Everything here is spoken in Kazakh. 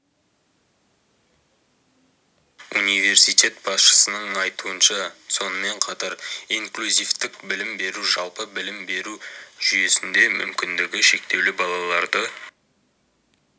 университет басшысының айтуынша сонымен қатар инклюзивтік білім беру жалпы білім беру жүйесінде мүмкіндігі шектеулі балаларды